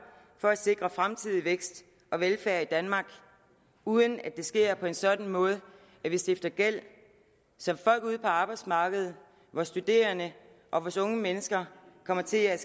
for at sikre fremtidig vækst og velfærd i danmark uden at det sker på en sådan måde at vi stifter gæld som folk ude på arbejdsmarkedet studerende og unge mennesker kommer til at